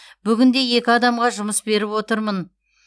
бүгінде екі адамға жұмыс беріп отырмын